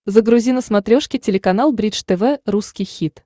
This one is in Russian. загрузи на смотрешке телеканал бридж тв русский хит